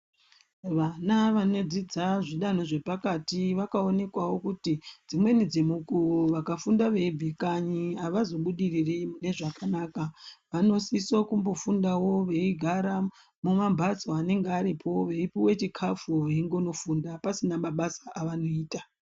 Vana vanodzidza zvidanho zvepakati vakaonekwawo kuti dzimweni dzemukuwo vakafunda veibve kanyi havazobudiriri mune zvakanaka. Vanosiso kumbofundawo veigara mumambatso anenge aripo veipuwe chikafu veingonofunda. Pasina mabasa avanoita.